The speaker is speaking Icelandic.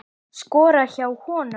Skora hjá honum??